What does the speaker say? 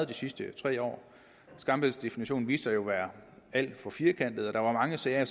de sidste tre år skambidsdefinitionen viste sig jo at være alt for firkantet og der er mange sager